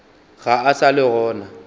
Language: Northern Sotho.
ga a sa le gona